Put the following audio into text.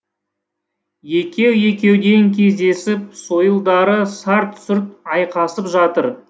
екеу екеуден кездесіп сойылдары сарт сұрт айқасып жатыр